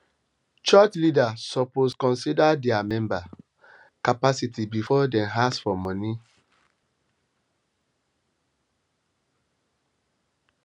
church leaders suppose consider dia member capacity before dem ask for money money